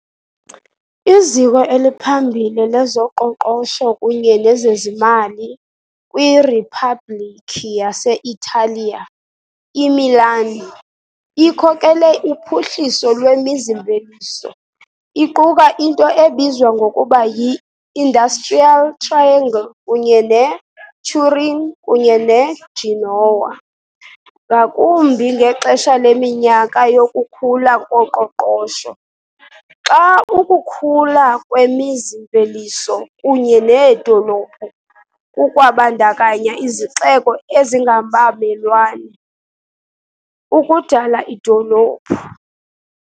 Iziko eliphambile lezoqoqosho kunye nezezimali kwiRiphabhlikhi yase-Italiya, iMilan ikhokele uphuhliso lwemizi-mveliso, iquka into ebizwa ngokuba yi- Industrial Triangle kunye neTurin kunye neGenoa, ngakumbi ngexesha leminyaka yokukhula koqoqosho, xa ukukhula kwemizi-mveliso kunye needolophu kukwabandakanya izixeko ezingabamelwane, ukudala idolophu.